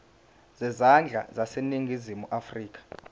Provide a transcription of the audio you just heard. zezandla zaseningizimu afrika